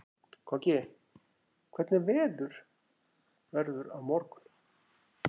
Koggi, hvernig verður veðrið á morgun?